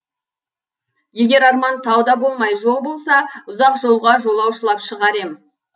егер арман тау да болмай жол болса ұзақ жолға жолаушылап шығар ем